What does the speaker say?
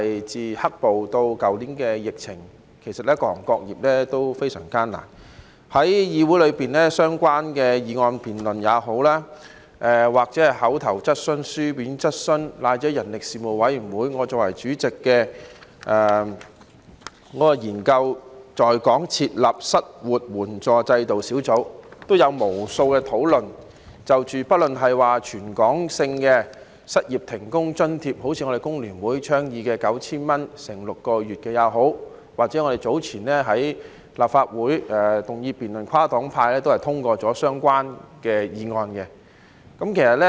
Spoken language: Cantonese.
在議會裏，對於不論是就相關議題進行的議案辯論，或口頭質詢、書面質詢，以至我作為主席的人力事務委員會，研究在港設立失業援助制度小組委員會也有就此議題進行了無數的討論，即不論是提供全港性的失業停工津貼，例如工聯會倡議的 9,000 元乘6個月的建議，或我們早前在立法會的議案辯論，跨黨派通過了的相關議案。